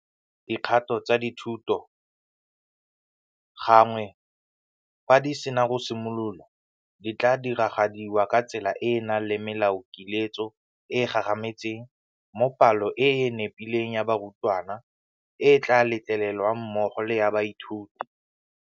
Dikgato tsa thuto, gangwe fa di sena go simolola, di tla diragadiwa ka tsela e e nang le melaokiletso e e gagametseng mo palo e e nepileng ya barutwana e tla letlelelwang mmogo le ya baithuti.